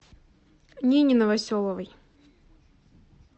нине новоселовой